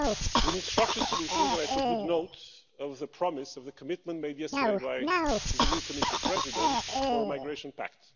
We need structured solutions and I took good note of the promise of the commitment made yesterday by the new Commission President to a migration pact.